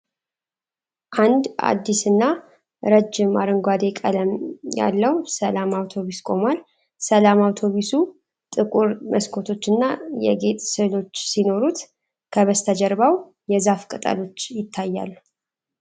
አንድ አዲስና ረጅም አረንጓዴ ቀለም ያለው ስላም አውቶቡስ ቆሟል። ስላም አውቶቡሱ ጥቁር መስኮቶችና የጌጥ ስዕሎች ሲኖሩት፣ ከበስተጀርባው የዛፍ ቅጠሎች ይታያሉ።